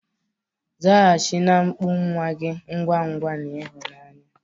Zaghachi na mkpu nwa gị ngwa ngwa na ịhụnanya.